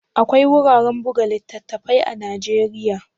Akwai wuraren buga littattafai da yawa a Najeriya?